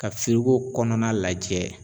Ka firigo kɔnɔna lajɛ